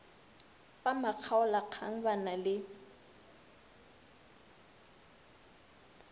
ba makgaolakgang ba na le